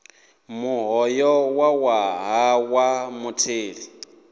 muholo wa ṅwaha wa mutheli